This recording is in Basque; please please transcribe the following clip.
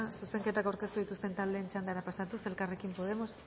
zuzenketak aurkeztu dituzten taldeen txandara pasatuz elkarrekin podemos